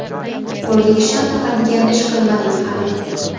Qo‘lga kishan taqadigan ish qilmadik hali.